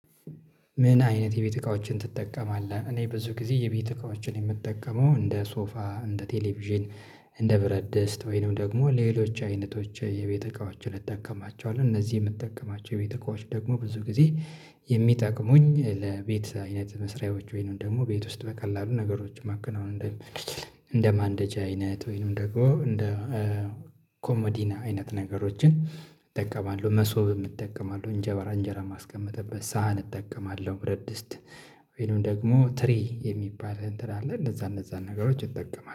ምን አይነት የቤት እቃዎችን ትጠቀማለህ? እኔ ብዙ ጊዜ የቤት እቃዎችን የምጠቀመው እንደ ሶፋ፥ እንደ ቴሌቪዥን፥ እንደ ብረት ድስት ወይንም ደግሞ ሌሎች አይነቶች የቤት እቃዎችን እጠቀማቸዋለሁ እነዚህ የምትጠቀማቸው የቤት እቃዎች ደግሞ ብዙ ጊዜ የሚጠቅሙኝ ለቤት አይነት መስሪያዎች ወይንም ደግሞ ቤት ውስጥ በቀላሉ ነገሮች ማከናውን እንድችል እንደማንደጃ አይነት ወይንም ደግሞ እንደ ኮሞዲኖ አይነት ነገሮችን እጠቀማለሁ መሶብም እጠቀማለሁ፥ እንጀራ እንጀራ ማስቀምጥበት ሳህን እጠቀማለሁ፥ ብረድስት ወይንም ደግሞ ትሪ የሚባል እንትን አለ እንደዛ እንደዛ ነገሮች እጠቀማለሁ